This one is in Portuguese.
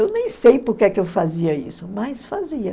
Eu nem sei porque é que eu fazia isso, mas fazia.